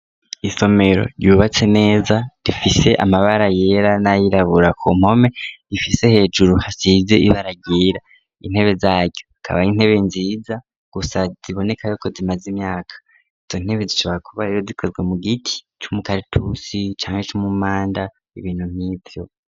Isomero ryubatse neza rifise amabara yera nayirabura ku mpome rifise hejuru hasize ibara ryera intebe zaryo akaba ari intebe nziza gusa ziboneka yuko zimaze imyaka izo ntebe zishobora kuba rero zikozwe mu giti cy'umukaratusi canke c'umumanda ibintu nk'ivyo.